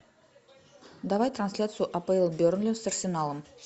давай трансляцию апл бернли с арсеналом